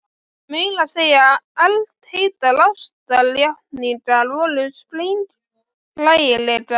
Meira að segja eldheitar ástarjátningar voru sprenghlægilegar.